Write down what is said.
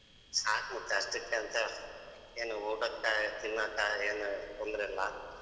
ಸಾಕ್ ಮತ್ತ್ ಅಷ್ಟಕೇಂತ ಏನ್ ಊಟಕ ತಿನ್ನಕ ಎನ್ ತೊಂದ್ರೆ ಇಲ್ಲ.